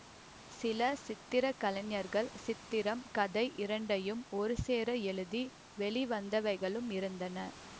சில சித்திர கலைஞர்கள் சித்திரம் கதை இரண்டையும் ஒருசேர எழுதி வெளிவந்தவைகளும் இருந்தன